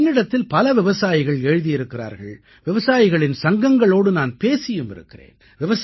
என்னிடத்தில் பல விவசாயிகள் எழுதியிருக்கிறார்கள் விவசாயிகளின் சங்கங்களோடு நான் பேசியும் இருக்கிறேன்